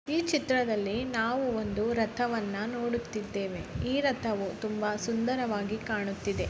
ಈ ಚಿತ್ರದಲ್ಲಿ ನಾವು ಒಂದು ರಥವನ್ನು ನೋಡುತ್ತಿದ್ದೇವೆ. ಈ ರಥವು ತುಂಬಾ ಸುಂದರವಾಗಿ ಕಾಣುತ್ತಿದೆ.